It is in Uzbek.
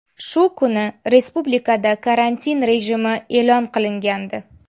Shu kuni respublikada karantin rejimi e’lon qilingandi .